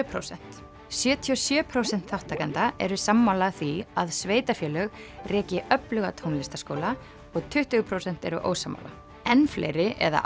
prósent sjötíu og sjö prósent þátttakenda eru sammála fylgjandi því að sveitarfélög reki öfluga tónlistarskóla og tuttugu prósent eru ósammála enn fleiri eða